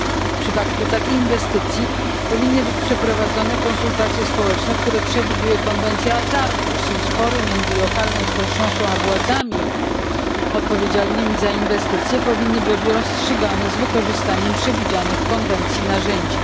W przypadku takiej inwestycji powinny być przeprowadzone konsultacje społeczne, które przewiduje konwencja z Aarhus i spory między lokalną społecznością a władzami odpowiedzialnymi za inwestycje powinny być rozstrzygane z wykorzystaniem przewidzianych w konwencji narzędzi.